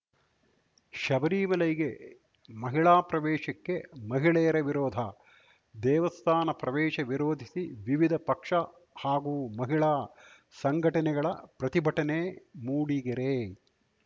ಶಬರಿಮಲೈಗೆ ಮಹಿಳಾ ಪ್ರವೇಶಕ್ಕೆ ಮಹಿಳೆಯರ ವಿರೋಧ ದೇವಸ್ಥಾನ ಪ್ರವೇಶ ವಿರೋಧಿಸಿ ವಿವಿಧ ಪಕ್ಷ ಹಾಗೂ ಮಹಿಳಾ ಸಂಘಟನೆಗಳ ಪ್ರತಿಭಟನೆ ಮೂಡಿಗೆರೆ